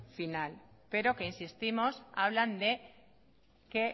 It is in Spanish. final pero que insistimos que hablan de que